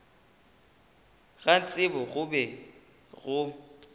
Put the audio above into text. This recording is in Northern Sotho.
ga tsebo go be go